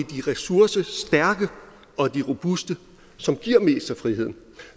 ressourcestærke og de robuste som giver mest frihed